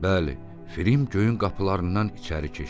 Bəli, Film göyün qapılarından içəri keçdi.